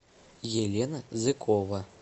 елена зыкова